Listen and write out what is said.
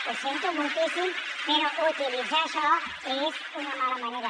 ho sento moltíssim però utilitzar això és una mala manera